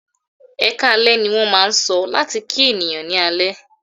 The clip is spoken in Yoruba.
"Ẹkáalẹ́" ní wọ́n máà ń sọ láti kí ènìyàn ní alẹ́.